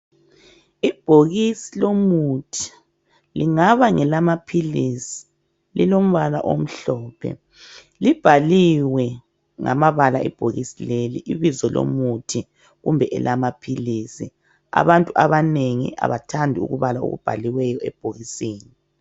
Ibhokisi lomuthi .Lingaba ngelamaphilisi lilombala omhlophe . Libhaliwe ngamabala ibhokisi leli ibizo lomuthi kumbe elamaphilisi .Abantu abanengi abathandi ukubala okubhaliweyo ebhokisini .